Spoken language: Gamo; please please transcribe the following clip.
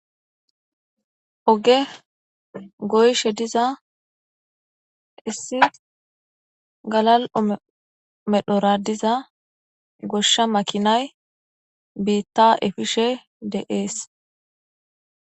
Oge goyishe diza issi galal'o medhora diza gosha makinayi biita efishe de'esi.